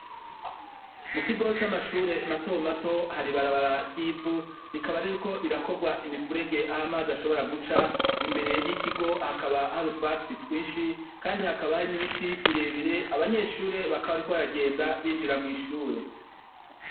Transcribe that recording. Mu kigo c'amashure matomato hari barabara ry'ivu rikaba, ariko rirakorwa imifurege aho amazi ashobora guca imbere y'ikigo hakaba hari utwatsi twinshi, kandi hakaba hari n'ibiti birebire abanyeshure bakaba, ariko baragenda binjira mw'ishure.